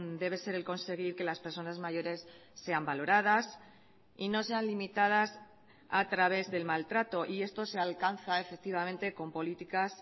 debe ser el conseguir que las personas mayores sean valoradas y no sean limitadas a través del maltrato y esto se alcanza efectivamente con políticas